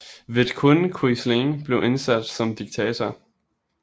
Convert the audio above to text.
Vidkun Quisling blev indsat som diktator